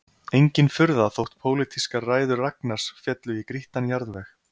Engin furða þótt pólitískar ræður Ragnars féllu í grýttan jarðveg